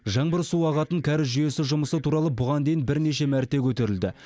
жаңбыр суы ағатын кәріз жүйесі жұмысы туралы бұған дейін бірнеше мәрте көтерілді